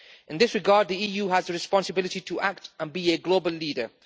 In this regard, the EU has a responsibility to act and be a global leader.